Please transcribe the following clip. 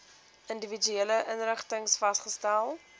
individuele inrigtings vasgestel